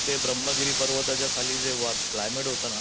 ब्रम्हगिरी पर्वताच्या खाली जे वात क्लायमॅट होत ना,